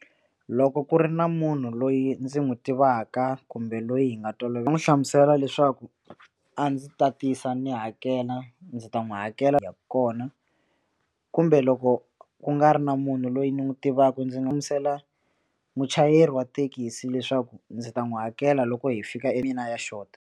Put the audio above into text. Loko ku ri na munhu loyi ndzi n'wi tivaka kumbe loyi hi nga hlamusela leswaku a ndzi ta tisa ni hakela ndzi ta n'wi hakela kona kumbe loko ku nga ri na munhu loyi ni n'wi tivaka ndzi nga hlamusela muchayeri wa thekisi leswaku ndzi ta n'wi hakela loko hi fika e mina ya short.